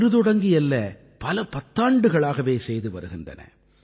இன்று தொடங்கி அல்ல பல பத்தாண்டுகளாகவே செய்து வருகின்றன